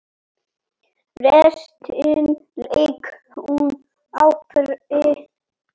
Restina lék hún á pari.